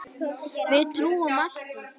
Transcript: Við trúum alltaf.